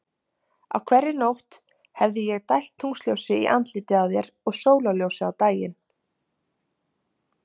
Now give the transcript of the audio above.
Á hverri nótt hefði ég dælt tunglsljósi í andlitið á þér og sólarljósi á daginn.